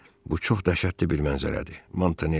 Bu çox dəhşətli bir mənzərədir, Montanelli.